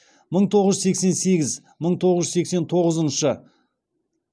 мың тоғыз жүз сескен сегіз мың тоғыз жүз сексен тоғызыншы